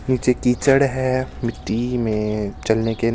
नीचे कीचड़ है मिट्टी में चलने के--